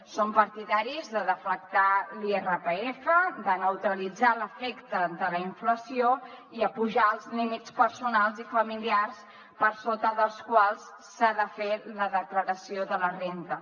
som partidaris de deflactar l’irpf de neutralitzar l’efecte de la inflació i apujar els límits personals i familiars per sota dels quals s’ha de fer la declaració de la renda